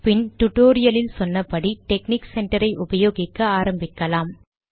பின் டுடோரியலில் சொன்னபடி technique centre ஐ உபயோகிக்க ஆரம்பிக்கலாம்